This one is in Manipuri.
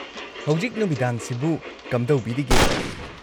ꯍꯧꯖꯤꯛ ꯅꯨꯃꯤꯗꯥꯡꯁꯤꯕꯨ ꯀꯝꯗꯧꯕꯤꯔꯤꯒꯦ?